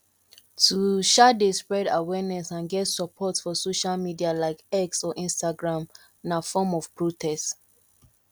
to um de spread awareness and get support for social media like x or instagram na form of protect